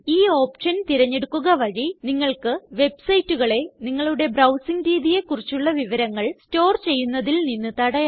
ഈ ഓപ്ഷൻ തിരഞ്ഞെടുക്കുക വഴി നിങ്ങൾക്ക് websiteകളെ നിങ്ങളുടെ ബ്രൌസിംഗ് രീതിയെ കുറിച്ചുള്ള വിവരങ്ങൾ സ്റ്റോർ ചെയ്യുന്നതിൽ നിന്ന് തടയാം